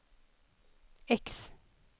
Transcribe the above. X